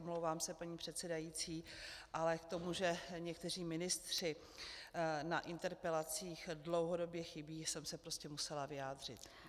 Omlouvám se, paní předsedající, ale k tomu, že někteří ministři na interpelacích dlouhodobě chybějí, jsem se prostě musela vyjádřit.